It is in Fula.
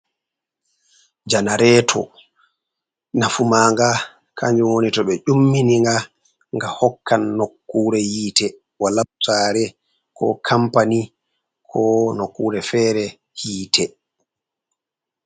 Janareeo nafu maaga kanjum woni ,to ɓe ƴummininga nga hokkan nokkuure yiite ,walab saare, ko kampani ko nokkuure feere yiite.